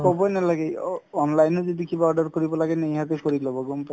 ক'বই নালাগে ওন~ online ত যদি কিবা order কৰিব লাগে কৰি ল'ব গম পাই